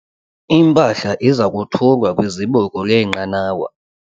Impahla iza kothulwa kwizibuko leenqanawa.